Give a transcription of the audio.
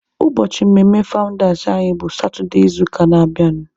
Ụbọchị mmemme fawụndas anyị bụ satụde izuụka na-abịanụ.